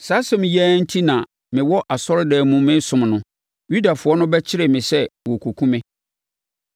Saa asɛm yi ara enti na mewɔ asɔredan mu resom no, Yudafoɔ no bɛkyeree me sɛ wɔrekɔku me.